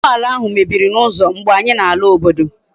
Ugboala ahu mebiri na uzo mgbe anyi na ala obodo